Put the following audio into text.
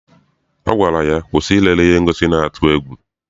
Ọ gwara ya, kwụsị ilele ihe ngosi na-atụ egwu!